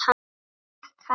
Takk, Hanna.